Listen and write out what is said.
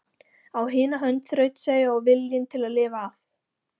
Á hina hönd þrautseigja og viljinn til að lifa af.